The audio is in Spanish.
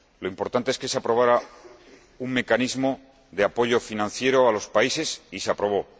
lo importante es que se aprobara un mecanismo de apoyo financiero a los países, y se aprobó